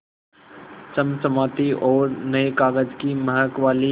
चमचमाती और नये कागज़ की महक वाली